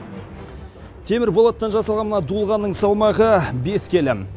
темір болаттан жасалған мына дулығаның салмағы бес келім